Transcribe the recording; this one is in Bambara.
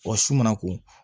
Wa su mana ko